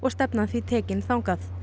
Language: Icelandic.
stefnan því tekin þangað